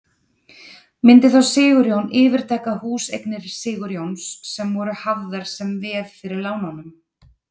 Myndi þá Sigurjón yfirtaka húseignir Sigurjóns sem voru hafðar sem veð fyrir lánunum?